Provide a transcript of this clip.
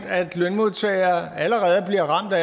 at lønmodtagere allerede bliver ramt af